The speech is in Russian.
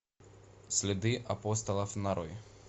следы апостолов нарой